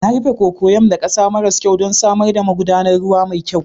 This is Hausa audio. Na rufe cocoyam da ƙasa maras kyau don samar da magudanar ruwa mai kyau.